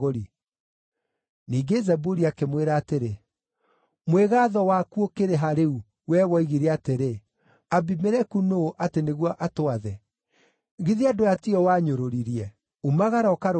Ningĩ Zebuli akĩmwĩra atĩrĩ, “Mwĩgaatho waku ũkĩrĩ ha rĩu, wee woigire atĩrĩ, ‘Abimeleku nũũ atĩ nĩguo atwathe?’ Githĩ andũ aya ti o wanyũrũririe. Umagara ũkarũe nao!”